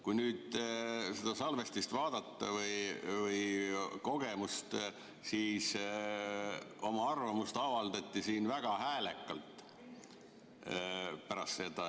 Kui nüüd vaadata seda salvestist või kogemust, siis näeme, et oma arvamust avaldati pärast seda siin väga häälekalt.